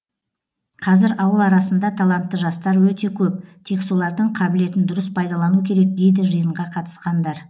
қазір ауыл арасында талантты жастар өте көп тек солардың қабілетін дұрыс пайдалану керек дейді жиынға қатысқандар